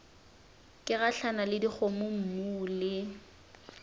ke gahlana le dikgomommuu le